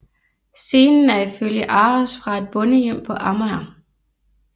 Scenen er ifølge ARoS fra et bondehjem på Amager